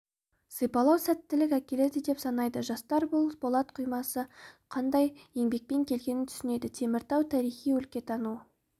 сипалау сәттілік әкеледі деп санайды жастар бұл болат құймасы қандай еңбекпен келгенін түсінеді теміртау тарихи-өлкетану